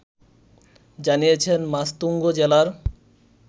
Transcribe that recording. জানিয়েছেন মাসতুঙ্গ জেলার